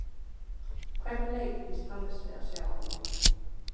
Hvernig leik býst Hannes við að sjá á morgun?